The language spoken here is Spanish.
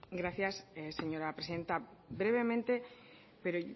gracias señora presidenta brevemente pero